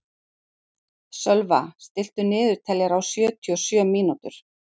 Sölva, stilltu niðurteljara á sjötíu og sjö mínútur.